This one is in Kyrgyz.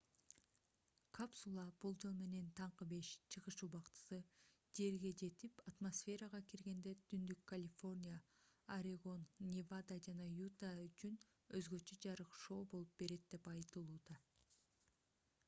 капсула болжол менен таңкы 5 чыгыш убактысы жерге жетип атмосферага киргенде түндүк калифорния орегон невада жана юта үчүн өзгөчө жарык шоу болуп берет деп айтылууда